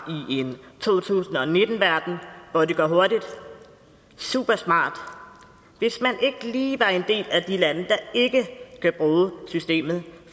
i en to tusind og nitten verden hvor det går hurtigt supersmart hvis man ikke lige var en del af de lande der ikke kan bruge systemet